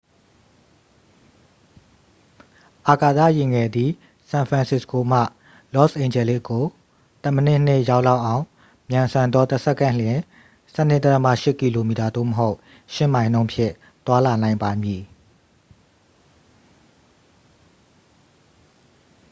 အာကာသယာဉ်ငယ်သည် ဆန်ဖရန်စစ္စကိုမှ လော့စ်အိန်ဂျလိစ်ကို တစ်မိနစ်နှင့် ရောက်လောက်အောင် မြန်ဆန်သော တစ်စက္ကန့်လျှင် 12.8 km သို့မဟုတ် 8 မိုင်နှုန်းဖြင့် သွားလာနိုင်ပါမည်